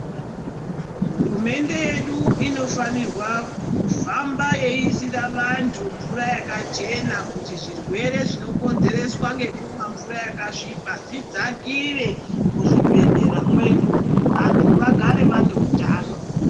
Hurumende yedu inofanirwa kufamba yeiisira vantu mvura yakachena kuitira zvirwere Zvinokonzereswa nekumwa mvura yakasviba zvidzakire muzvibhedhlera vantu vagare vane hutano.